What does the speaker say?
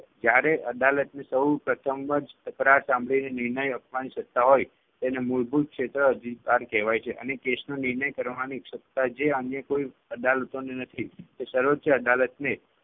જયારે અદાલતને સૌપ્રથમ જ તકરાર સાંભળીને નિર્ણય આપવાની સત્તા હોય તેને મૂળભૂત ક્ષેત્ર અધિકાર કહેવાય છે. અને case નો નિર્ણય કરવાની સત્તા જે અન્ય કોઈ અદાલતોને નથી તે સર્વોચ્ય અદાલતને